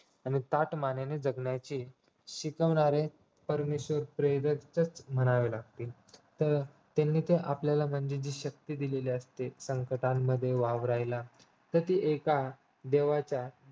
आणि ताठ मानेने जगण्याची शिकवणारे परमेश्वर प्रेरक च म्हणावे लागते तर त्यांनी ते आपल्याला म्हणजे जी शक्ती दिलेली असते संकटांमध्ये वावरायला तसे एका देवाच्या